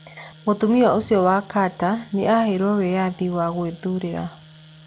Mũtumia ũcio wa Carter nĩ aaheirũo wĩyathi wa gwĩthuurĩra.